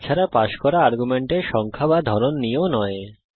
তাছাড়া পাস করা আর্গুমেন্টের সংখ্যা বা ধরন নিয়েও নয়